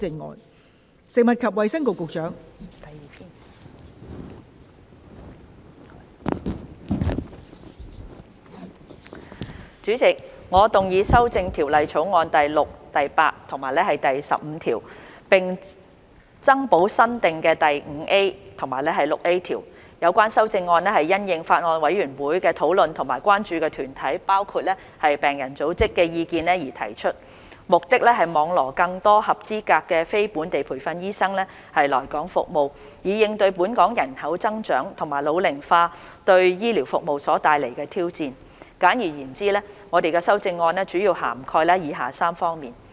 代理主席，我動議修正《2021年醫生註冊條例草案》第6、8及15條，並增補新訂的第 5A 及 6A 條。有關修正案是因應法案委員會的討論及關注團體的意見而提出，目的是網羅更多合資格非本地培訓醫生來港服務，以應對本港人口增長和老齡化對醫療服務所帶來的挑戰。簡而言之，我們的修正案主要涵蓋以下3方面。